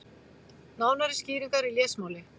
Nánari skýringar í lesmáli.